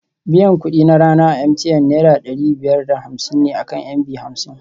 Biyan kuɗi na rana a MTN Naira ɗari biyar da hamsin ne akan MB hamsin